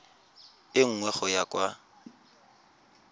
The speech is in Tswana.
e nngwe go ya kwa